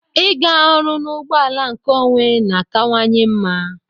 Ịga ọrụ n'ụgbọ ala nkeonwe na-akawanye mma.